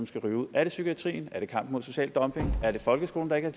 skal ryge ud er det psykiatrien er det kampen mod social dumping er det folkeskolen der ikke